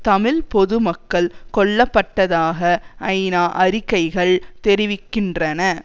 தமிழ் பொது மக்கள் கொல்ல பட்டதாக ஐநா அறிக்கைகள் தெரிவிக்கின்றன